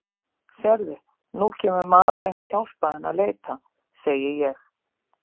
Sérðu, nú kemur maðurinn að hjálpa henni að leita, segi ég.